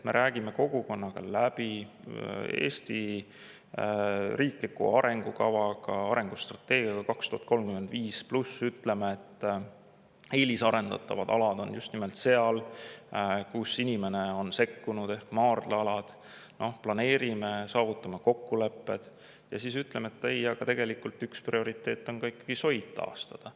Me räägime kogukonnaga läbi Eesti riikliku arengustrateegia "Eesti 2035", ütleme, et eelisarendatavad alad on just nimelt seal, kus inimene on sekkunud, ehk maardlate alad, planeerime, saavutame kokkulepped, ja siis ütleme, et ei, tegelikult üks prioriteet on ikkagi soid taastada.